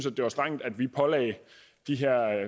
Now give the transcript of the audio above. at det var strengt at vi pålagde de her